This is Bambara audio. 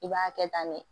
I b'a kɛ tan ne